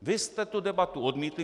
Vy jste tu debatu odmítli.